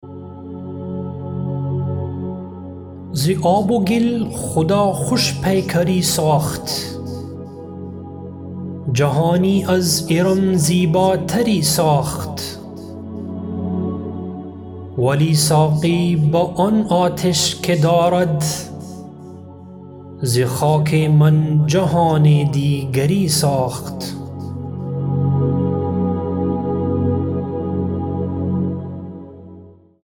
ز آب و گل خدا خوش پیکری ساخت جهانی از ارم زیبا تری ساخت ولی ساقی به آن آتش که دارد ز خاک من جهان دیگری ساخت